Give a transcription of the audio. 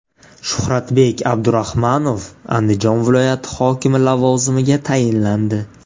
Shuxratbek Abduraxmanov Andijon viloyati hokimi lavozimiga tayinlandi.